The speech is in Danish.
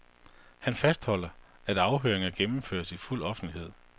Han fastholder, at afhøringerne gennemføres i fuld offentlighed.